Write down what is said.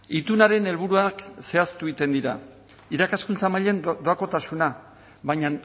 itunaren helburuak zehaztu egiten dira irakaskuntza mailan doakotasuna baina